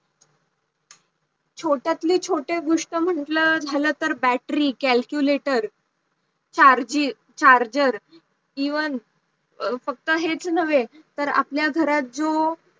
छोट्यातले छोटी गोष्ट म्हंटल, झालं तर battery calculator charger even फक्त हेच नव्हे तर आपल्या घरात जो